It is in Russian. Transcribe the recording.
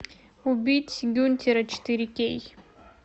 убить гюнтера четыре кей